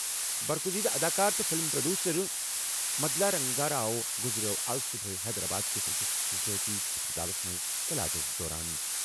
برگٗزیدٕ اداکار تہٕ film producer Madala Ranga Rao گُزریٛوو آز صُبحٲے حیدرآبادٕ کِس أکِس ذٲتی ہسپتالَس منٛز علاجَس دوران ۔